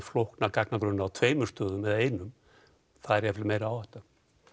flókna gagnagrunna á tveimur stöðum eða einum það er meiri áhætta